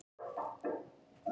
Marel